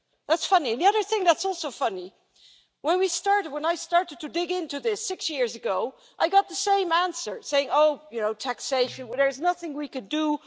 That's funny, and the other thing that is also funny is that when I started to dig into this, six years ago, I got the same answer Oh, you know, taxation there is nothing we can do.